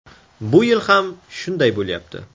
Bu yil ham shunday bo‘lyapti”.